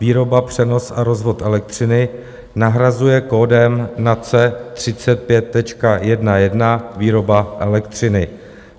Výroba, přenos a rozvod elektřiny nahrazuje kódem NACE 35.11 Výroba elektřiny.